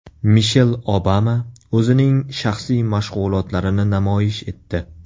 Mishel Obama o‘zining shaxsiy mashg‘ulotlarini namoyish etdi.